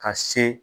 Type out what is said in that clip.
Ka se